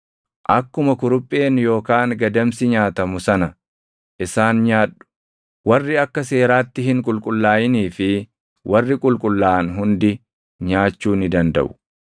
Akkuma kurupheen yookaan gadamsi nyaatamu sana isaan nyaadhu; warri akka seeraatti hin qulqullaaʼinii fi warri qulqullaaʼan hundi nyaachuu ni dandaʼu.